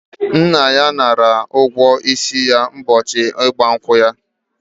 Nna ya nara ụgwọ isi ya ụbọchị ịgba nkwụ ya.